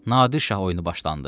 Nadir şah oyunu başlandı.